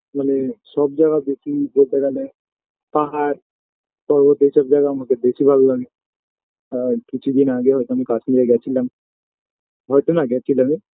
মানে সব জায়গায় বেশি যেতে গেলে পাহাড় পর্বত এইসব জায়গা আমাকে বেশি ভালো লাগে আর কিছু দিন আগেও হয়তো আমি কাশ্মীরে গেছিলাম হয়তো না গেছিলামই